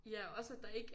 Ja også at der ikke